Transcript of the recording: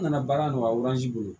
N nana baara nɔgɔya